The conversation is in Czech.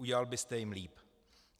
Udělal byste jim líp.